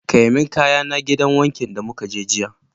Kai min kayana gidan wankin da mukaje jiya